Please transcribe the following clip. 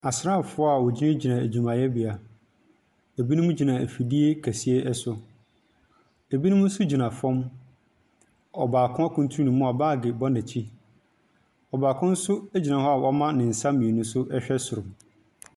Asraafoɔ a wɔgyina gyina adwumayɛbea, ebinom gyina afidie kɛseɛ ɛso, ebinom so gyina fɔm. Ɔbaako akuntun ne mu a baag bɔ n'akyi, ɔbaako nso egyina hɔ a wama ne nsa mmienu so ɛhwɛ soro.